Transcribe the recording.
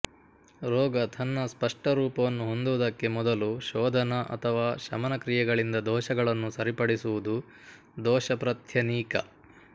ರೋಗ ತನ್ನ ಸ್ಪಷ್ಟ ರೂಪವನ್ನು ಹೊಂದುವುದಕ್ಕೆ ಮೊದಲು ಶೋಧನ ಅಥವಾ ಶಮನಕ್ರಿಯೆಗಳಿಂದ ದೋಷಗಳನ್ನು ಸರಿಪಡಿಸುವುದು ದೋಷಪ್ರತ್ಯನೀಕ